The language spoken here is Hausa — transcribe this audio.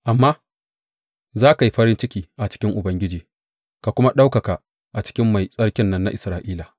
Amma za ka yi farin ciki a cikin Ubangiji ka kuma ɗaukaka a cikin Mai Tsarkin nan na Isra’ila.